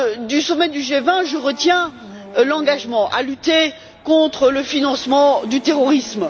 Du sommet du G20, je retiens l'engagement à lutter contre le financement du terrorisme.